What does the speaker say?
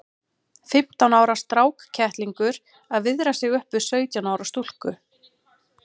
Fimmtán ára strákkettlingur að viðra sig upp við sautján ára stúlku!